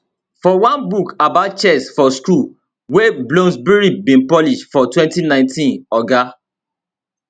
for one book about chess for school wey bloomsbury bin publish for 2019 oga